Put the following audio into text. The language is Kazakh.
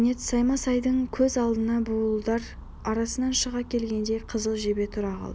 кенет саймасайдың көз алдына буалдыр арасынан шыға келгендей қызыл жебе тұра қалды